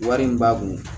Wari in b'a bolo